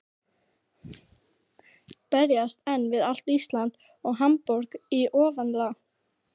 Berjast einn við allt Ísland og Hamborg í ofanálag?